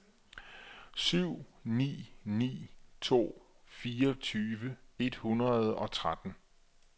syv ni ni to fireogtyve et hundrede og tretten